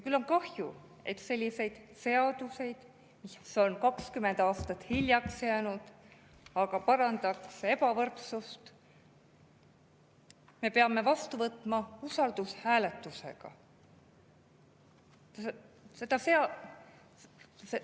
Küll on kahju, et selliseid seaduseid, mis on 20 aastat hiljaks jäänud, aga parandaks ebavõrdsust, me peame vastu võtma usaldushääletusega.